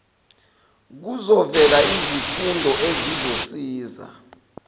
kuzovela izifundo ezizosiza